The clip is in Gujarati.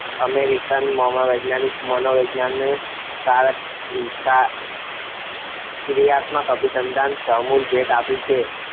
અમેરિકન મનોવૈજ્ઞાનિકે મનોવિજ્ઞાનને કારક ક્રિયાત્મક અભિસંધાનની મહામૂલી ભેટ આપી છે.